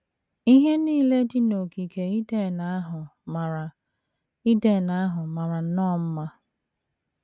Ihe nile dị n’ogige Iden ahụ mara Iden ahụ mara nnọọ mma.